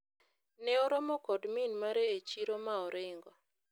ne oromo kod min mare e chiro ma oringo